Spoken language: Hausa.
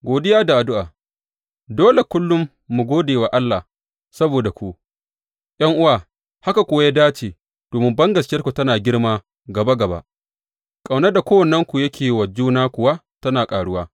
Godiya da addu’a Dole kullum mu gode wa Allah saboda ku, ’yan’uwa, haka kuwa ya dace, domin bangaskiyarku tana girma gaba gaba, ƙaunar da kowannenku yake yi wa juna kuwa tana ƙaruwa.